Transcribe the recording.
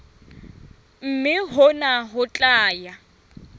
mme hona ho tla ya